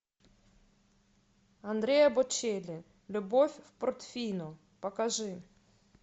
андреа бочелли любовь в портофино покажи